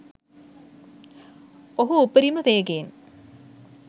ඔහු උපරිම වේගයෙන්